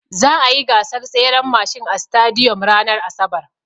Za'a yi gasar tseren mashin a sitadiyom ranar asabar.